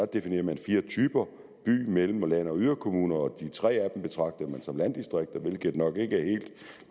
definerede fire typer by mellem land og yderkommuner og de tre af dem betragtede man som landdistrikter hvilket nok ikke er helt